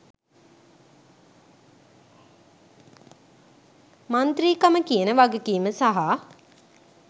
මන්ත්‍රීකම කියන වගකීම සහ